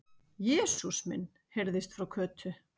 Jesús minn! heyrðist frá Kötu.